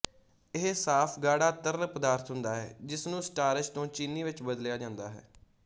ਇਹ ਸਾਫ਼ ਗਾੜਾ ਤਰਲ ਪਦਾਰਥ ਹੁੰਦਾ ਹੈ ਜਿਸਨੂੰ ਸਟਾਰਚ ਤੋਂ ਚੀਨੀ ਵਿੱਚ ਬਦਲਿਆ ਜਾਂਦਾ ਹੈ